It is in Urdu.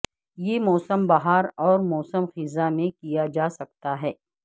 یہ موسم بہار اور موسم خزاں میں کیا جا سکتا ہے